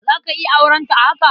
Za ka iya aurenta a haka?